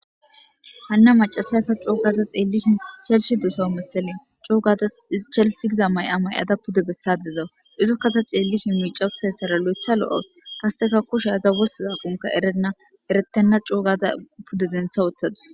Hana macashiya ta c'oo gadda xellishin Chelsea dosawus mesele c'oo gadda Chelsea giza maya mayada pudde bessadda dawus izokka ta xellishin miicca uuttidayssara lo'oeththa lo'awus qasekka kushsha wostizakokka erenna erettenna c'oo gadda pudde denththa wooththadus.